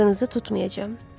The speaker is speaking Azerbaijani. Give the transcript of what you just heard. Adınızı tutmayacam.